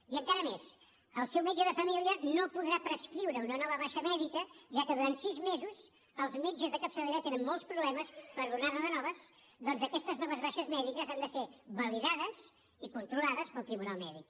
i encara més el seu metge de família no podrà prescriure una nova baixa mèdica ja que durant sis mesos els metges de capçalera tenen molts problemes per donar ne de noves perquè aquestes noves baixes mèdiques han de ser validades i controlades pel tribunal mèdic